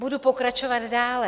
Budu pokračovat dále.